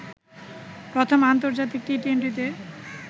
প্রথম আন্তর্জাতিক টি-টোয়েন্টিতে